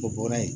O bɔra yen